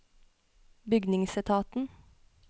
bygningsetaten